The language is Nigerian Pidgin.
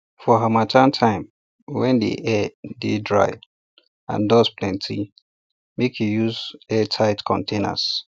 for harmattan time when di air dey dry and dust plenty make you use airtight containers